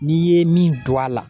N'i ye min don a la